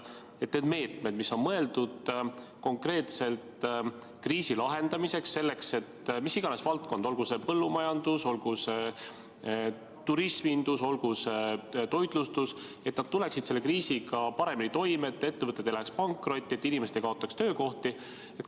On olemas meetmed, mis on mõeldud konkreetselt kriisi lahendamiseks, selleks et mis iganes valdkond, olgu see põllumajandus, olgu see turismindus, olgu see toitlustus, tuleks kriisiga paremini toime, ettevõtted ei läheks pankrotti ja inimesed ei kaotaks töökohti.